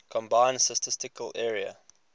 combined statistical area